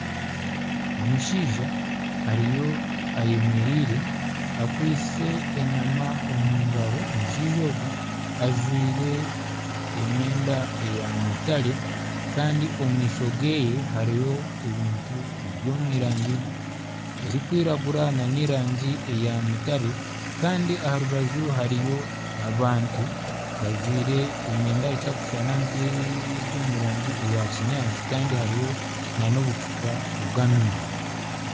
Omushaija ariyo ayemereire akwaitse enyama omungaro, omushaija ogu ajwire emyenda eya mutare kandi omu maisho geye hariyo ebintu ebiri omu rangi erikwiragura nana erangi eya mutare Kandi aha rubaju hariyo abantu bajwire emyenda etarikushushana nkeri omu rangi ya kinyaantsi Kandi hariyo n'obucupa bw'amaizi.